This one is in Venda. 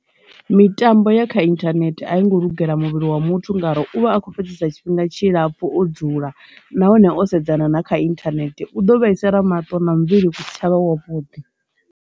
Mitambo ya kha internet a yi ngo lugela muvhili wa muthu ngauri u vha a kho fhedzisa tshifhinga tshilapfu o dzula nahone o sedzana na kha internet u ḓo vhaisa mato na muvhili u si tshavha wavhuḓi.